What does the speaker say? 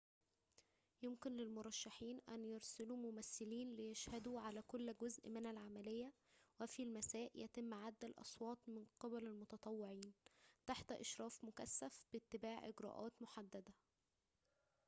يمكن للمرشحين أن يرسلوا ممثلين ليشهدوا على كل جزء من العملية وفي المساء يتم عد الأصوات من قبل المتطوعين تحت إشراف مكثف باتباع إجراءات محددة